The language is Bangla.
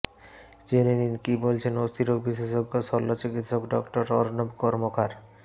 জেনে নিন কী বলছেন অস্থিরোগ বিশেষজ্ঞ শল্য চিকিত্সক ডঃ অর্ণব কর্মকার